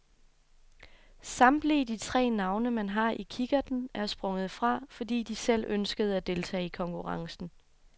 Samtlige de tre navne man havde i kikkerten er sprunget fra, fordi de selv ønskede at deltage i konkurrencen.